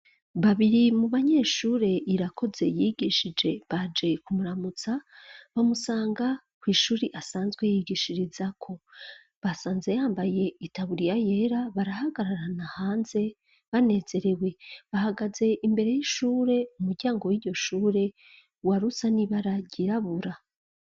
bBabiri mu banyeshure Irakoze yigishije baje kumuramutsa bamusanga ku ishuri asanzwe yigishiriza ko basanze yambaye itaburiya yera barahagararana hanze banezerewe bahagaze imbere y'ishure umuryango w'iyoshure wa rusa n'ibara ryirabura.